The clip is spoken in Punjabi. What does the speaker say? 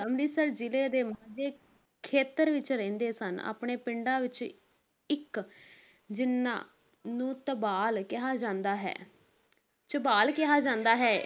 ਅਮ੍ਰਿਤਸਰ ਜ਼ਿਲੇ ਦੇ ਮਾਝੇ ਖੇਤਰ ਵਿਚ ਰਹਿੰਦੇ ਸਨ, ਆਪਣੇ ਪਿੰਡਾਂ ਵਿੱਚੋਂ ਇੱਕ, ਜਿਨ੍ਹਾਂ ਨੂੰ ਤਬਾਲ ਕਿਹਾ ਜਾਂਦਾ ਹੈ ਝਬਾਲ ਕਿਹਾ ਜਾਂਦਾ ਹੈ,